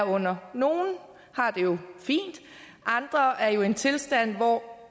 under nogle har det jo fint andre er jo i en tilstand hvor